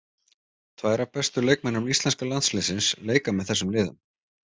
Tvær af bestu leikmönnum íslenska landsliðsins leika með þessum liðum.